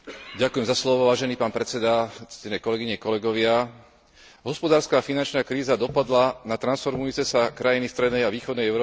Hospodárska a finančná kríza dopadla na transformujúce sa krajiny strednej a východnej Európy oveľa tvrdšie ako na stabilné demokracie západnej Európy.